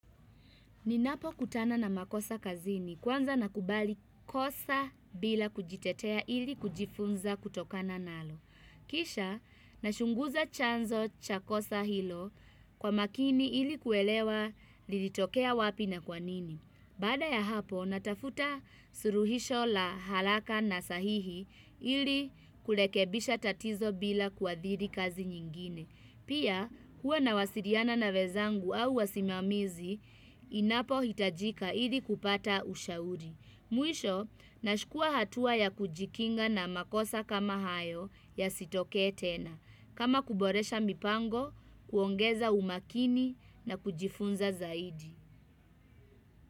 Ninapo kutana na makosa kazini kwanza nakubali kosa bila kujitetea ili kujifunza kutokana nalo. Kisha nachunguza chanzo cha kosa hilo kwa makini ili kuelewa lilitokea wapi na kwanini. Baada ya hapo natafuta suluhisho la haraka na sahihi ili kurekebisha tatizo bila kuadhiri kazi nyingine. Pia, huwa nawasiliana na wenzangu au wasimamizi, inapohitajika ili kupata ushauri. Mwisho, nachukua hatua ya kujikinga na makosa kama hayo yasitokee tena. Kama kuboresha mipango, kuongeza umakini na kujifunza zaidi.